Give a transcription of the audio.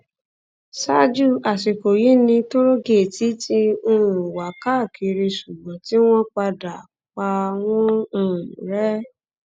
ṣáájú àsìkò yìí ni tóògéètì ti um wà káàkiri ṣùgbọn tí wọn padà pa wọn um rẹ